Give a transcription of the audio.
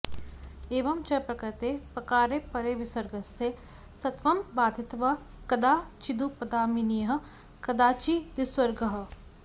एवं च प्रकृते पकारे परे विसर्गस्य सत्वं बाधित्वा कदाचिदुपध्मानीयः कदाचिद्विसर्गः